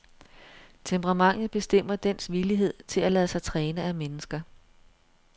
Temperamentet bestemmer dens villighed til at lade sig træne af mennesker.